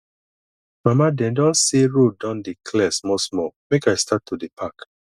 mama dey don say road don dey clear small small make i start to dey park